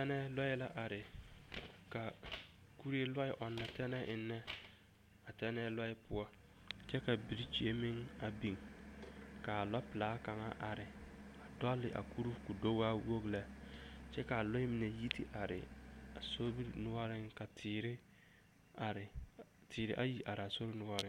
Tɛne lɔɛ la are ka kuree lɔɛ ɔnnɔ tɛne ennɛ a tɛnɛɛ lɔɛ poɔ kyɛ ka birikyie meŋ a biŋ k'a lɔpelaa kaŋ are a dɔle a kuruu k'o do waa wogi lɛ kyɛ k'a lɔɛ mine yi te are a sobiri noɔreŋ ka teere are teere ayi are a sobiri noɔreŋ.